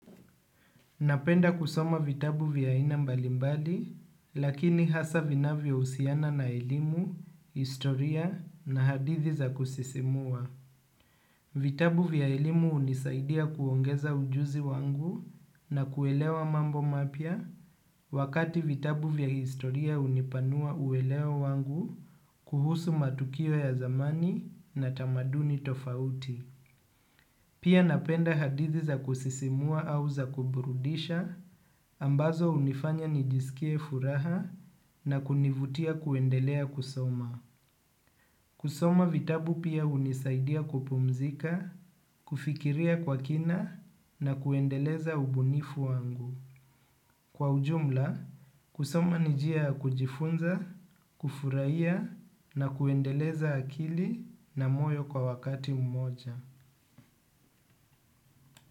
Napenda kusoma vitabu vya aina mbalimbali, lakini hasa vinavyohusiana na elimu, historia na hadithi za kusisimua. Vitabu vya elimu hunisaidia kuongeza ujuzi wangu na kuelewa mambo mapya wakati vitabu vya historia hunipanua uelewa wangu kuhusu matukio ya zamani na tamaduni tofauti. Pia napenda hadithi za kusisimua au za kuburudisha ambazo hunifanya nijiskie furaha na kunivutia kuendelea kusoma. Kusoma vitabu pia hunisaidia kupumzika, kufikiria kwa kina na kuendeleza ubunifu wangu. Kwa ujumla, kusoma ni njia ya kujifunza, kufurahia na kuendeleza akili na moyo kwa wakati mmoja.